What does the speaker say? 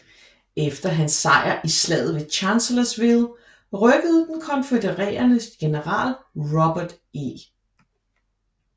Efter hans sejr i slaget ved Chancellorsville rykkede den konfødererede general Robert E